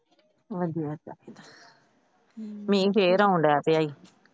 ਵਧੀਆ ਚਾਹੀਦਾ । ਮੀਹ ਫੇਰ ਆਉਣ ਡਿਆਂ ਪਿਆ।